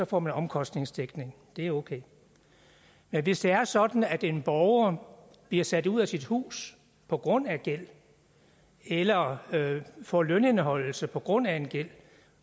får man omkostningsdækning det er okay men hvis det er sådan at en borger bliver sat ud af sit hus på grund af gæld eller får lønindeholdelse på grund af gæld